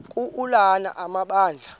ka ulana amabandla